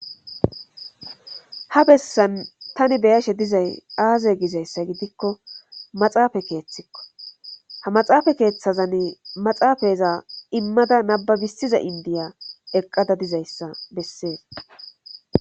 Ha bessan tani beyashe dizay aaze gizayssa gidikko maxaafa keeththikko ha maxaafa keeththazani maxaafayeza immada nababissiza indiya eqqada dizayssa bessees